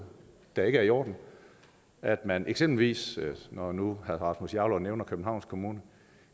der ikke er i orden at man eksempelvis når nu herre rasmus jarlov nævner københavns kommune